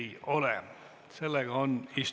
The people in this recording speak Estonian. Istungi lõpp kell 19.48.